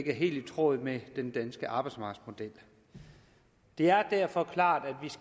er helt i tråd med den danske arbejdsmarkedsmodel og det er derfor klart